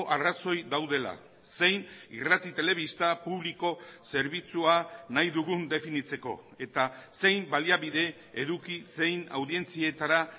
arrazoi daudela zein irrati telebista publiko zerbitzua nahi dugun definitzeko eta zein baliabide eduki zein audientzietara